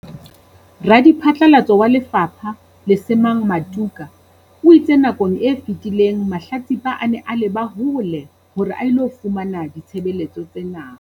Radiphatlalatso wa lefapha, Lesemang Matuka, o itse nakong e fetileng mahlatsipa a ne a leba hole hore a ilo fumana ditshebeletso tsena.